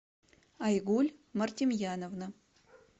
айгуль мартимьяновна